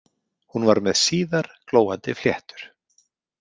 Hún var með síðar glóandi fléttur.